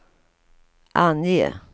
ange